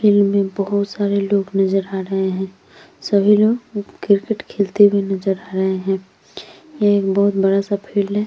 बहुत सारे लोग नज़र आ रहे है सभी लोग क्रिकेट खेलते हुए नज़र आ रहे है ये एक बहुत बड़ा सा फील्ड है।